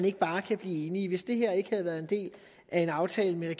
ikke bare kan blive enige hvis det her ikke havde været en del af en aftale mellem